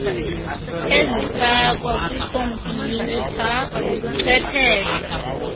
ezifakwa kwikhompiyutha ubuchwepheshe